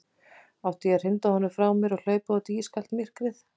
Átti ég að hrinda honum frá mér og hlaupa út í ískalt myrkrið?